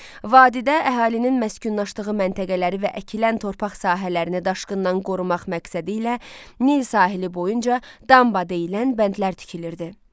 Vadidə əhalinin məskunlaşdığı məntəqələri və əkilən torpaq sahələrini daşqından qorumaq məqsədilə Nil sahili boyunca damba deyilən bəndlər tikilirdi.